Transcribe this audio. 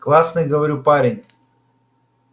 классный говорю парень